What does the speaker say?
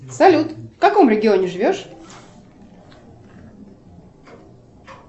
салют в каком регионе живешь